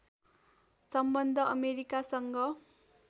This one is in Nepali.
सम्बन्ध अमेरिकासँग